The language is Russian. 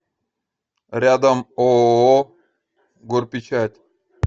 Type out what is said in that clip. рядом ооо горпечать